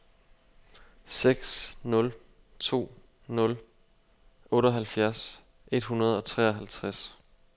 seks nul to nul otteoghalvfjerds et hundrede og treoghalvtreds